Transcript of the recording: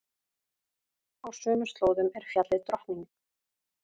Á sömu slóðum er fjallið Drottning.